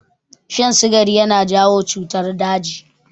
Shan sigari yana jawo cutar daji.